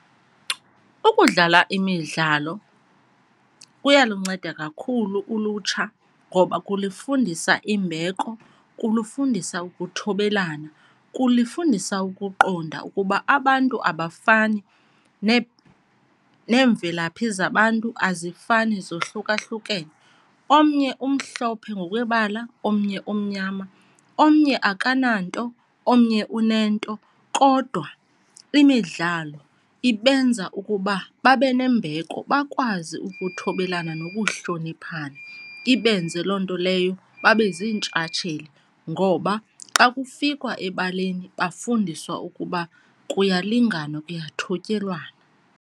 Ukudlala imidlalo kuyalunceda kakhulu ulutsha ngoba kulufundisa imbeko, kulufundisa ukuthobelana, kulifundisa ukuqonda ukuba abantu abafani neemvelaphi zabantu azifani zohlukahlukene. Omnye umhlophe ngokwebala omnye omnyama, omnye akananto omnye unento, kodwa imidlalo ibenza ukuba babe nembeko bakwazi ukuthobelana nokuhloniphana. Ibenze loo nto leyo babe ziintshatsheli ngoba xa kufikwa ebaleni bafundiswa ukuba kuyalinganwa kuyathotyelwana.